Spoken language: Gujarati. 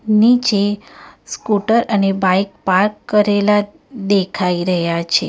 નીચે સ્કૂટર અને બાઈક પાર્ક કરેલા દેખાઈ રહ્યા છે.